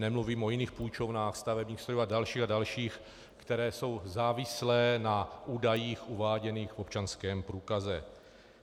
Nemluvím o jiných půjčovnách - stavebních strojů a dalších a dalších, které jsou závislé na údajích uváděných v občanském průkaze.